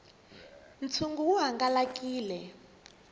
ntshungu wu hangalakile